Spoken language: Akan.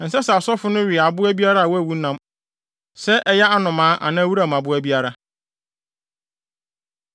Ɛnsɛ sɛ asɔfo no we aboa biara a wawu nam; sɛ ɛyɛ anomaa anaa wuram aboa biara.’ ”